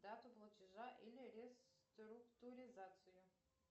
дату платежа или реструктуризацию